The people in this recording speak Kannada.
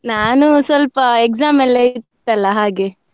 ನಾನು ಸ್ವಲ್ಪ exam ಎಲ್ಲಾ ಇತ್ತಲ್ಲ ಹಾಗೆ.